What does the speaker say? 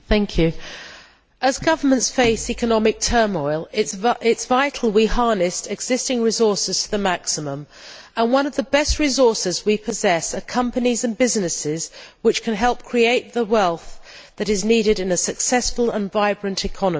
Madam President, as governments face economic turmoil it is vital we harness existing resources to the maximum, and one of the best resources we possess are companies and businesses which can help create the wealth that is needed in a successful and vibrant economy.